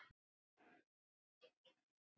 En værirðu til í að koma aftur með mér í bíó?